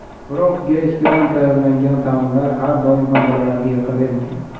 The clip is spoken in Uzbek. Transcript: Biroq grechkadan tayyorlangan taomlar har doim ham bolalarga yoqavermaydi.